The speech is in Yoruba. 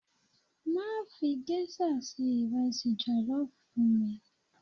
Má fi géṣà ṣe ìrẹsì jọ̀lọ́ fún mi.